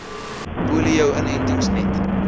polio inentings net